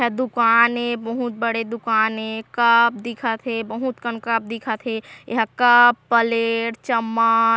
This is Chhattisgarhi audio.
ह दुकान ए बहुत बड़े दुकान ए कप दिखत है बहुत कन कप दिखत है एहा कप प्लेट चम्म--